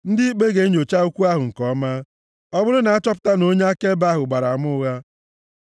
Ndị ikpe ga-enyocha okwu ahụ nke ọma. Ọ bụrụ na a chọpụta na onye akaebe ahụ gbara ama ụgha,